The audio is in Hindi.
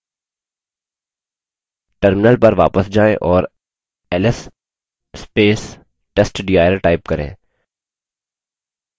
terminal पर वापस जायें और ls testdir type करें